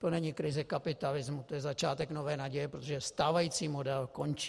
To není krize kapitalismu, to je začátek nové naděje, protože stávající model končí.